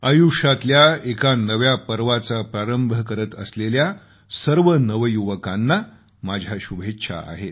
आयुष्यातल्या एका नव्या पर्वाचा प्रारंभ करत असलेल्या सर्व नवयुवकांना माझ्या शुभेच्छा आहेत